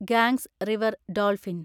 Ganges river dolphin